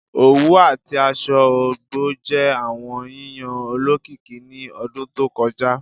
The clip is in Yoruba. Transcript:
Owu ati aṣọ ọgbọ jẹ awọn yiyan olokiki ni ọdun to kọja